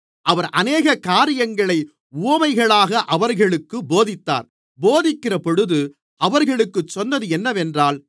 அவர் அநேக காரியங்களை உவமைகளாக அவர்களுக்குப் போதித்தார் போதிக்கிறபொழுது அவர்களுக்குச் சொன்னது என்னவென்றால்